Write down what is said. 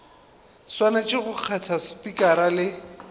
swanetše go kgetha spikara le